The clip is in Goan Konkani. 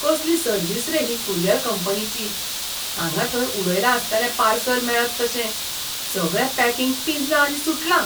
कसली सर्विस रे ही कुरियर कंपनीची. हांगां थंय उडयलां आसतलें पार्सल मेळत तशें, सगळें पॅकिंग पिंजलां आनी सुटलां.